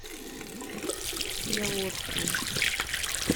яворской